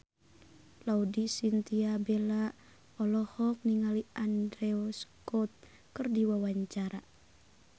Laudya Chintya Bella olohok ningali Andrew Scott keur diwawancara